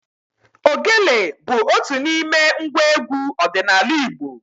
Ogele bụ otu n'ime ngwa egwu ọdịnala Igbo.